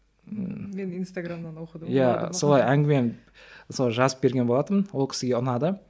иә солай әңгімем солай жазып берген болатынмын ол кісіге ұнады